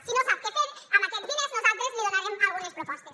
si no sap què fer amb aquests diners nosaltres li donarem algunes propostes